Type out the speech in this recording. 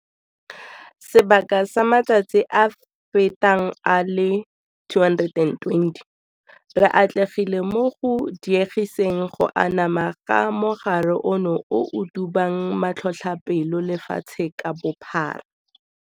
Sebaka sa matsatsi a feta a le 120, re atlegile mo go diegiseng go anama ga mogare ono o o dubang matlhotlhapelo lefatshe ka bophara.